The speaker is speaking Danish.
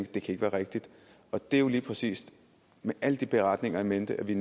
det kan ikke være rigtigt det var lige præcis med alle de beretninger in mente at vi